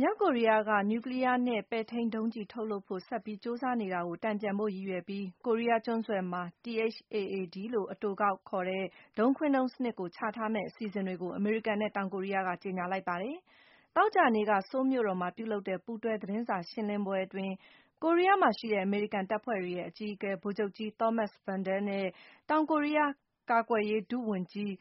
မြောက်ကိုရီးယားက နျူကလီးယားနဲ့ ပဲ့ထိန်းဒုံးကျည် ထုတ်လုပ်ဖို့ ဆက်ကြိုးစားနေတာကို တန်ပြန်ဖို့ ရည်ရွယ်ပြီး ကိုရီးယားကျွန်းဆွယ်မှာ THAAD လို့ အတိုကောက် ခေါ်တဲ့ ဒုံးခွင်းဒုံးစနစ်ကို ချထားမယ့်အစီအစဉ်တွေကို အမေရိကန်နဲ့ တောင်ကိုရီးယားက ကြေညာလိုက်ပါတယ်။ သောကြာနေ့က ဆိုးလ်မြို့တော်မှာ ပြုလုပ်တဲ့ ပူးတွဲသတင်းစာရှင်းလင်းပွဲအတွင်း - ကိုရီးယားမှာ ရှိတဲ့ အမေရိကန်တပ်ဖွဲ့တွေရဲ့ အကြီးအကဲ ဗိုလ်ချုပ်ကြီး Thomas Vandal နဲ့ တောင်ကိုရီးယား ကာကွယ်ရေးဒုဝန်ကြီး